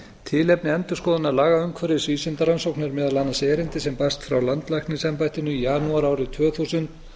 tilefni endurskoðunar lagaumhverfis vísindarannsókna er meðal annars erindi sem barst frá landlæknisembættinu í janúar árið tvö þúsund